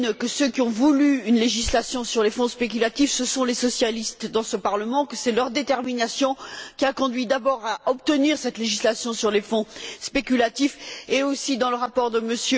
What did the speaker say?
Lehne que ceux qui ont voulu une législation sur les fonds spéculatifs, ce sont les socialistes dans ce Parlement, que c'est leur détermination qui a conduit d'abord à obtenir cette législation sur les fonds spéculatifs, et aussi, dans le rapport de M.